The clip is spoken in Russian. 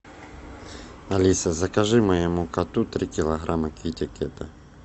алиса закажи моему коту три килограмма китекета